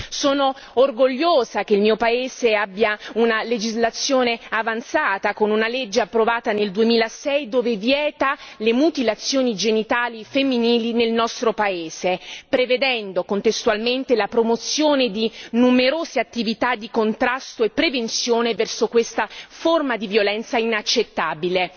Sono orgogliosa che il mio paese abbia una legislazione avanzata con una legge approvata nel 2006 che vieta le mutilazioni genitali femminili nel nostro paese prevedendo, contestualmente, la promozione di numerose attività di contrasto e prevenzione verso questa forma di violenza inaccettabile.